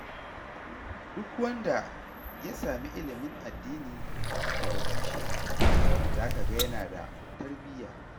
Duk wanda ya sami ilimin addini daga tushe, za ka ga yana da tarbiyya.